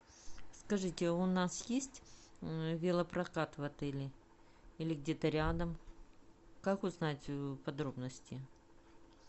скажите у нас есть велопрокат в отеле или где то рядом как узнать подробности